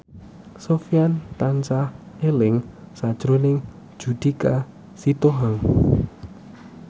Sofyan tansah eling sakjroning Judika Sitohang